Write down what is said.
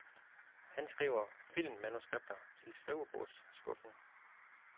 Han skriver filmmanuskripter til skrivebordsskuffen.